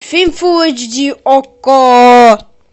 фильм фул эйч ди окко